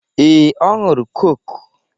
Ee, ọ ṅụrụ kọ́kụ́.